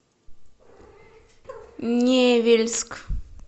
невельск